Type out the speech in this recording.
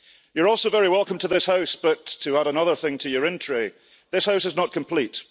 You're also very welcome to this House but to add another thing to your in tray, this House is not complete.